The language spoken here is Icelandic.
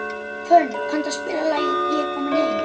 Hvönn, kanntu að spila lagið „Ég er kominn heim“?